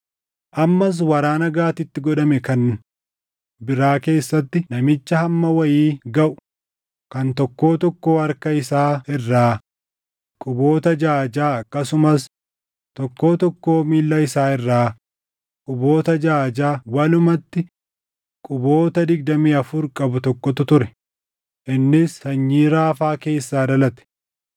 Ammas waraana Gaatitti godhame kan biraa keessatti namicha hamma wayii gaʼu kan tokkoo tokkoo harka isaa irraa quboota jaʼa jaʼa akkasumas tokkoo tokkoo miilla isaa irraa quboota jaʼa jaʼa walumatti quboota digdamii afur qabu tokkotu ture; innis sanyii Raafaa keessaa dhalate.